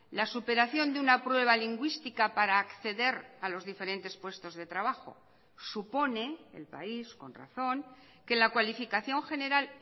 la superación de una prueba lingüística para acceder a los diferentes puestos de trabajo supone el país con razón que la cualificación general